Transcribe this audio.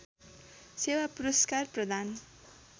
सेवा पुरस्कार प्रदान